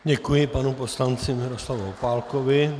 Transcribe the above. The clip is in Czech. Děkuji panu poslanci Miroslavu Opálkovi.